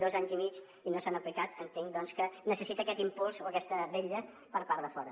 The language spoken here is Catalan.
dos anys i mig i no s’han aplicat entenc doncs que necessita aquest impuls o aquesta vetlla per part de fora